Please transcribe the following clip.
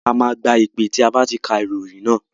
A máa gba ìpè tí a bá ti ka ìròyìn tán.